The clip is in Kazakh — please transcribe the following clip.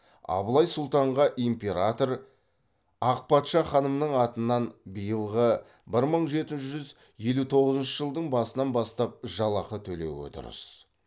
абылай сұлтанға император ақ патша ханымның атынан биылғы бір мың жеті жүз елу тоғызыншы жылдың басынан бастап жалақы төлеуі дұрыс